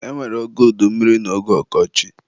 E nwere oge udummiri na oge ọkọchị